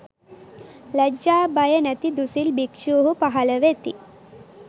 ලජ්ජා බය නැති දුසිල් භික්ෂූහු පහළ වෙති.